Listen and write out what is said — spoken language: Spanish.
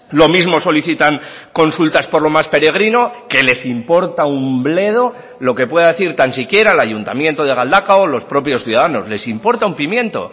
lo mismo solicitan consultas por lo más peregrino que les importa un bledo lo que pueda decir tan siquiera el ayuntamiento de galdakao o los propios ciudadanos les importa un pimiento